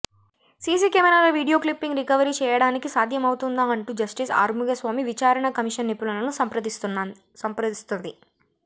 సీసీకెమెరాల video clipping recovery చెయ్యడానికి సాధ్యం అవుతుందా అంటూ జస్టిస్ ఆర్ముగస్వామి విచారణ కమిషన్ నిపుణులను సంప్రధిస్తున్నది